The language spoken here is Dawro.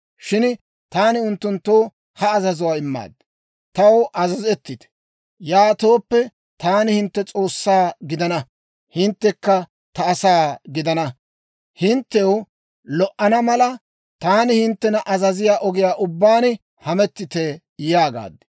Shin taani unttunttoo ha azazuwaa immaad; ‹Taw azazettite. Yaatooppe, taani hintte S'oossaa gidana; hinttekka ta asaa gidana. Hinttew lo"ana mala, taani hinttena azaziyaa ogiyaa ubbaan hamettite› yaagaad.